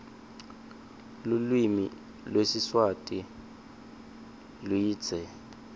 luklvimi lwesiswati wndtsile